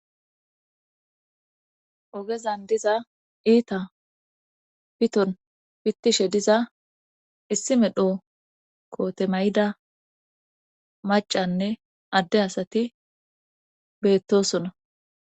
ogezan diza iita piton pittishe diza issi medho koote mayida maccanne adde asati beettoosona.